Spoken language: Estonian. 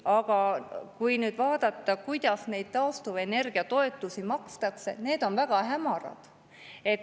Aga kui nüüd vaadata, kuidas neid taastuvenergia toetusi makstakse – need on väga hämarad.